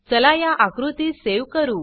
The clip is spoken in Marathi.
चला या आकृतीस सेव करू